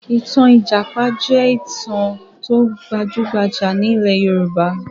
Ìtàn ní ìjàpá jẹ́ ìtàn tó gbajúgbajà ní ilẹ̀ Yorùbá